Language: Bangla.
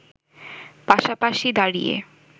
পাশাপাশি দাঁড়িয়ে